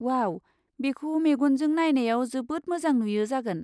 वाव! बेखौ मेगनजों नायनायाव जोबोद मोजां नुयो जागोन।